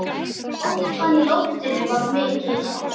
Orkan í loftinu var mikil.